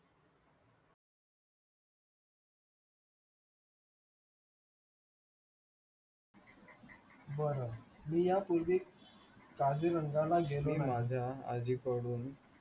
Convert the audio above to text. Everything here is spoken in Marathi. बरं मी यापूर्वी